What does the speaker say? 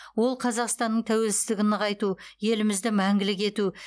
ол қазақстанның тәуелсіздігін нығайту елімізді мәңгілік ету